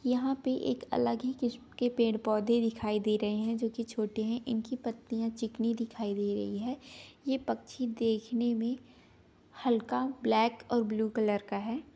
यहाँ पे एक अलग ही किस्म के पेड़ पौधे दिखाई दे रहे हैं जो कि छोटे हैं ईनकी पत्तियां चिकनी दिखाई दे रही है ये पक्षी देखने में हल्का ब्लैक और ब्लू कलर का है।